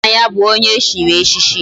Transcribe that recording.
Nna ya bu onye echiri echichi